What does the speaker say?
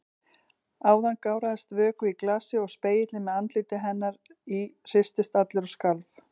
Áðan gáraðist vökvi í glasi og spegillinn með andliti hennar í hristist allur og skalf.